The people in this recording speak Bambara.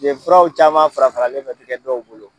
Yen furaww caman fara faralen be kɛ dɔw bolo